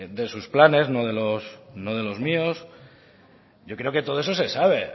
de sus planes no de los míos yo creo que todo eso se sabe